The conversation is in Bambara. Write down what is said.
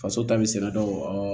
Faso ta bɛ sɛnɛ dɔ